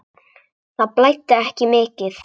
Það blæddi ekki mikið.